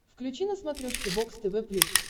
включи на смотрешке бокс тв плюс